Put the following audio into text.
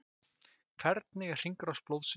Hvernig er hringrás blóðsins?